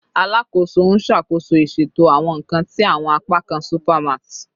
Alakoso n ṣakoso iṣeto awọn nkan ni awọn apakan supermart